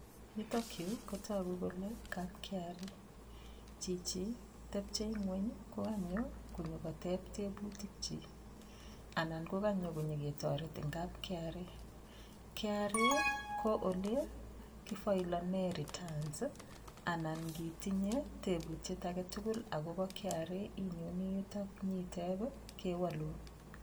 Yutokyu kotoku kole kap kra chichi tepchei ng'weny kokanyo konyikotep tebutik chi anan kokanyo ketoret eng' kap kra kra ko ole kifailone return anan ngitinye tebutiet age tugul akobo kra inyoni yutok nyitep kewolun